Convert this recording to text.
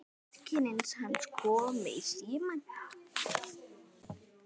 Systir hans kom í símann.